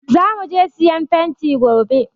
Za mu je siyan fenti gobe.